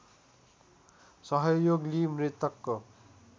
सहयोग लिई मृतकको